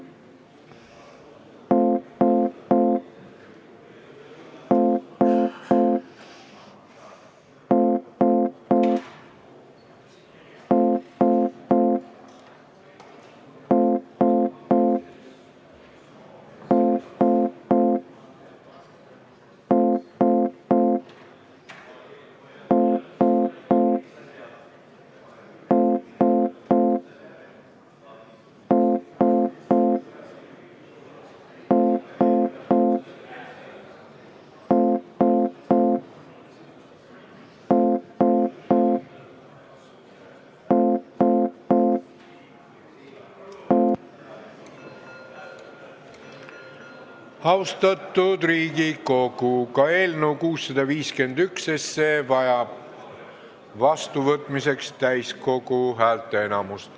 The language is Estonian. Austatud Riigikogu, ka eelnõu 651 vajab vastuvõtmiseks täiskogu häälteenamust.